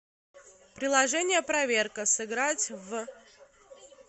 приложение проверка сыграть в